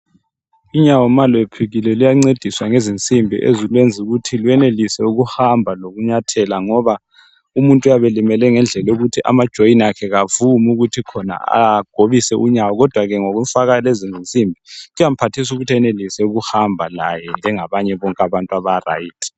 Unyawo ma lwephukile luyancediswa ngezinsimbi ezilwenza ukuthi lwenelise ukuhamba lokunyathela ngoba umuntu uyabe elimele ngendlela yokuthi amajoin akhe kawavumi ukuthi khona agobise unyawo kodwa ke ngokufaka lezinsimbi kuyamphathisa ukuthi laye enelise ukuhamba njengabanye bonke abaright.